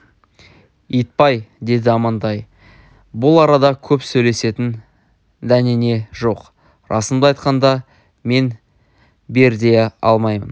итбай деді амантай бұл арада көп сөйлесетін дәнеңе жоқ расымды айтқанда мен бер дей алмаймын